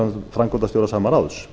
framkvæmdastjóra sama ráðs